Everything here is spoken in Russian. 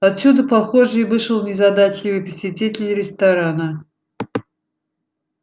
отсюда похоже и вышел незадачливый посетитель ресторана